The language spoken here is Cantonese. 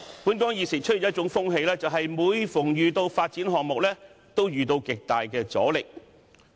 本港現時出現一種風氣，就是每逢有發展項目，均會遇到極大阻力。